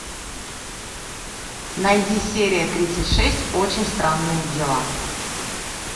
найди серия тридцать шесть очень странные дела